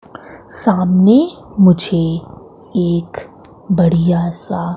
सामने मुझे एक बढ़िया सा--